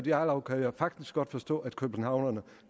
jarlov kan jeg faktisk godt forstå at københavnerne